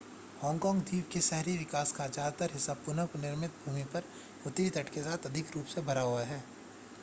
Hong Kong द्वीप के शहरी विकास का ज्यादातर हिस्सा पुनः निर्मित भूमि पर उत्तरी तट के साथ अधिक रूप से भरा हुआ है